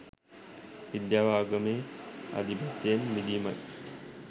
විද්‍යාව ආගමේ ආධිපත්‍යයෙන් මිදීමයි.